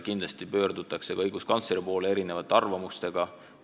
Kindlasti pöördutakse ka õiguskantsleri poole erinevate küsimustega.